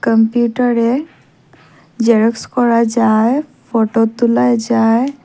কম্পিউটারে জেরক্স করা যায় ফটো তোলা যায়।